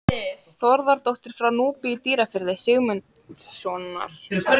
Þórðardóttir frá Núpi í Dýrafirði, Sigmundssonar.